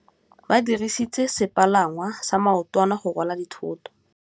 Ba dirisitse sepalangwasa maotwana go rwala dithôtô.